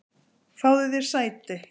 Fáðu þér sæti.